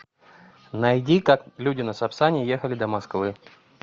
найди как люди на сапсане ехали до москвы